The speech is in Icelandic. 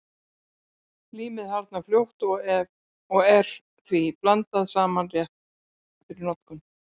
Límið harðnar fljótt og er því blandað saman rétt fyrir notkun.